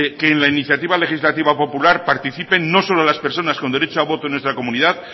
que en la iniciativa legislativa popular participen no solo la personas con derecho a voto en nuestra comunidad